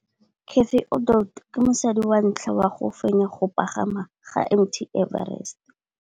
Cathy Odowd ke mosadi wa ntlha wa go fenya go pagama ga Mt Everest.